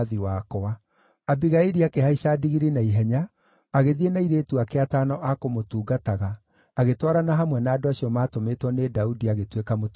Abigaili akĩhaica ndigiri na ihenya, agĩthiĩ na airĩtu ake atano a kũmũtungataga, agĩtwarana hamwe na andũ acio maatũmĩtwo nĩ Daudi, agĩtuĩka mũtumia wake.